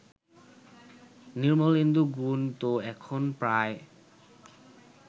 নির্মলেন্দু গুণ তো এখন প্রায়